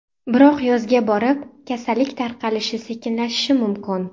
Biroq yozga borib, kasallik tarqalishi sekinlashishi mumkin.